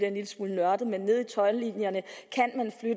en lille smule nørdet nede i toldlinjerne